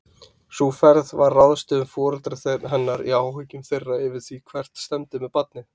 Sú ferð var ráðstöfun foreldra hennar í áhyggjum þeirra yfir því hvert stefndi með barnið.